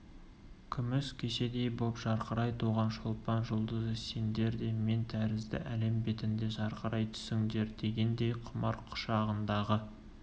күміс кеседей боп жарқырай туған шолпан жұлдызы сендер де мен тәрізді әлем бетінде жарқырай түсіңдер дегендей құмар құшағындағы